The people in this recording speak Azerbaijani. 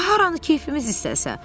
Haranı keyfimiz istəsə.